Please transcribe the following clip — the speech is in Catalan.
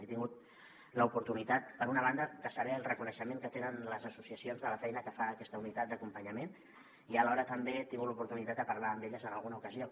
he tingut l’oportunitat per una banda de saber el reconeixement que tenen les associacions de la feina que fa aquesta unitat d’acompanyament i alhora també he tingut l’oportunitat de parlar amb elles en alguna ocasió